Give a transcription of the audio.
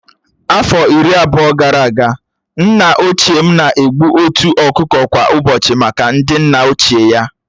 Afọ iri abụọ gara aga, nna ochie m na-egbu otu ọkụkọ kwa ụbọchị maka ndị nna ochie ya